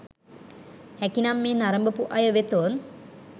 හැකිනම් මෙය නරඹපු අය වෙතොත්